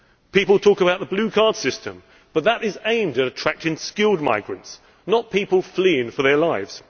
People talk about the blue card system, but that is aimed at attracting skilled migrants, not people fleeing for their lives.